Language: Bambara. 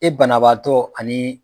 E banabaatɔ ani